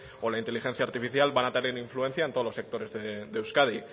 o la inteligencia artificial van a tener influencia en todos los sectores de euskadi